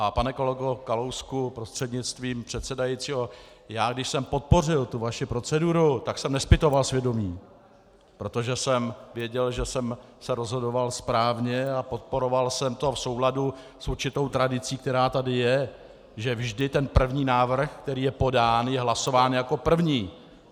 A pane kolego Kalousku prostřednictvím předsedajícího, já když jsem podpořil tu vaši proceduru, tak jsem nezpytoval svědomí, protože jsem věděl, že jsem se rozhodoval správně, a podporoval jsem to v souladu s určitou tradicí, která tady je, že vždy ten první návrh, který je podán, je hlasován jako první.